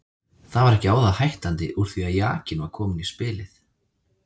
Það var ekki á það hættandi úr því að jakinn var kominn í spilið.